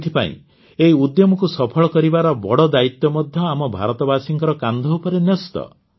ଏଥିପାଇଁ ଏହି ଉଦ୍ୟମକୁ ସଫଳ କରିବାର ବଡ଼ ଦାୟିତ୍ୱ ମଧ୍ୟ ଆମ ଭାରତବାସୀଙ୍କ କାନ୍ଧ ଉପରେ ନ୍ୟସ୍ତ